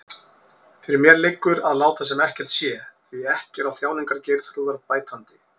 Fyrir mér liggur að láta sem ekkert sé, því ekki er á þjáningar Geirþrúðar bætandi.